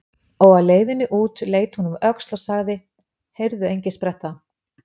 Og á leiðinni út leit hún um öxl og sagði: Heyrðu, Engispretta.